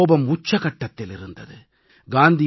மக்களின் கோபம் உச்சகட்டத்தில் இருந்தது